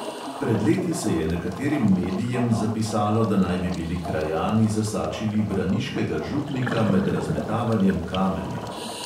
Pred leti se je nekaterim medijem zapisalo, da naj bi bili krajani zasačili braniškega župnika med razmetavanjem kamenja.